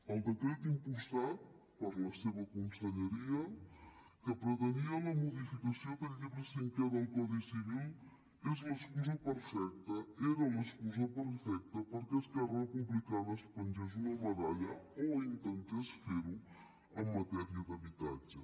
el decret impulsat per la seva conselleria que pretenia la modificació del llibre cinquè del codi civil és l’excusa perfecta era l’excusa perfecta perquè esquerra republicana es pengés una medalla o intentés fer ho en matèria d’habitatge